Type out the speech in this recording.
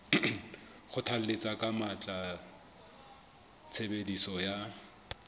kgothalletsa ka matla tshebediso ya